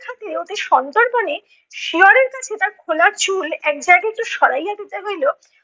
অতি সন্তর্পণে শিয়রের কাছে তার খোলা চুল এক জায়গায় একটু সরাইয়া দিতে হইলো।